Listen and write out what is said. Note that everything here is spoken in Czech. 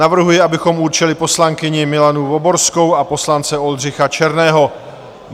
Navrhuji, abychom určili poslankyni Miladu Voborskou a poslance Oldřicha Černého.